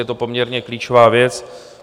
Je to poměrně klíčová věc.